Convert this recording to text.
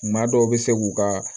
Maa dɔw bɛ se k'u ka